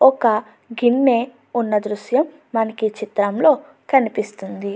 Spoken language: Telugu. ఒక గిన్నె ఉన్న దృశ్యం మనకి ఈ చిత్రంలో కనిపిస్తుంది.